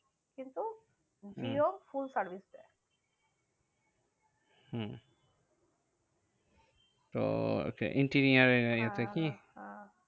হম Jio full service দেয়। হম তো interior area তে কি? হ্যাঁ হ্যাঁ